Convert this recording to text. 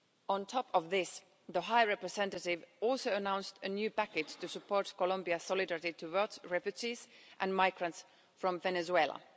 On top of this, the High Representative also announced a new package to support Colombian solidarity towards refugees and migrants from Venezuela.